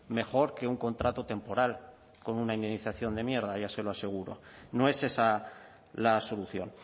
mejor que un contrato temporal con una indemnización de mierda ya se lo aseguro no es esa la solución